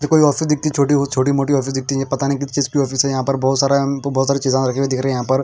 ये कोई ऑफिस दिखती छोटी और छोटी मोटी ऑफीस दिखती है पता नहीं किस चीज़ की ऑफिस है यहाँ पर बोहोत सारे बोहोत सारे चीजा ररखी हुयी दिख रही है यहाँ पर.